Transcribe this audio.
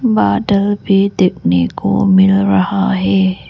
बादल भी देखने को मिल रहा है।